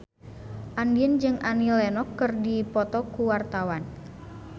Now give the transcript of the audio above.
Andien jeung Annie Lenox keur dipoto ku wartawan